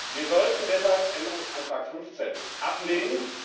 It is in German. Wir sollten deshalb Änderungsantrag 15 ablehnen.